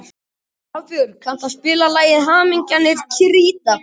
Hafbjörg, kanntu að spila lagið „Hamingjan er krítarkort“?